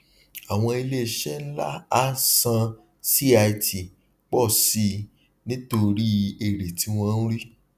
àwọn ilé iṣẹ ńlá á san cit pọ sí i nítorí èrè tí wọn ń rí